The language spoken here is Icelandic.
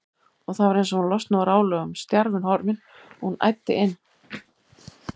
Og það var eins og hún losnaði úr álögum, stjarfinn horfinn, og hún æddi inn.